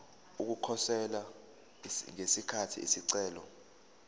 ukukhosela ngesikhathi isicelo